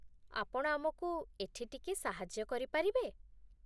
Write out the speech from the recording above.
ଆପଣ ଆମକୁ ଏଠି ଟିକିଏ ସାହାଯ୍ୟ କରିପାରିବେ?